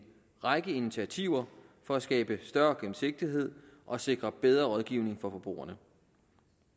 række initiativer for at skabe større gennemsigtighed og sikre bedre rådgivning for forbrugerne